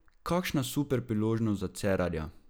Kakšna super priložnost za Cerarja!